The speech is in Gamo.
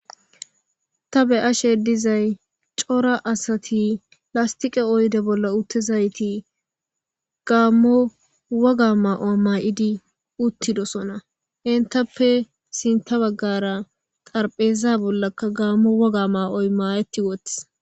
Ta be'ashe dizay cora asati lastiqe oyde bolla uttezayti gaammo waga ma7o maa7idi uttidosona hentappe sinta baggara qarpheza bollakka gaammo waga ma7oy maayetti woths.